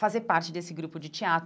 fazer parte desse grupo de teatro.